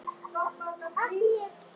Þessu getur Margrét eflaust svarað.